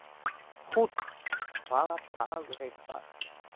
Húnn, hvaða dagur er í dag?